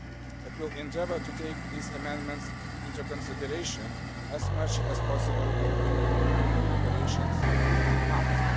It will endeavour to take these amendments into consideration as much as possible during the deliberations in the Council.